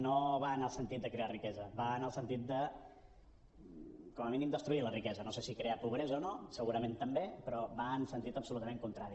no va en el sentit de crear riquesa va en el sentit de com a mínim destruir la riquesa no sé si crear pobresa o no segurament també però va en sentit absolutament contrari